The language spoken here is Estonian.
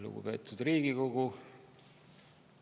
Lugupeetud Riigikogu!